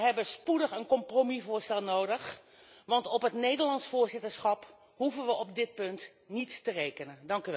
We hebben spoedig een compromisvoorstel nodig, want op het Nederlandse voorzitterschap hoeven we op dit punt niet te rekenen.